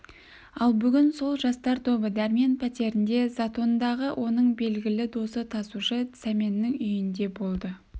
ал бүгін сол жастар тобы дәрмен пәтерінде затондағы оның белгілі досы тасушы сәменнің үйінде болды